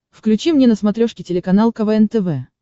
включи мне на смотрешке телеканал квн тв